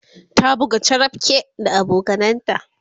ta buga charapke da abokananta